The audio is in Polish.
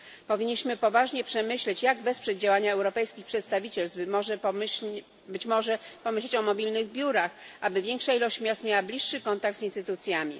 Powinniśmy poważnie przemyśleć, jak wesprzeć działania europejskich przedstawicielstw, być może pomyśleć o mobilnych biurach, aby większa ilość miast miała bliższy kontakt z instytucjami.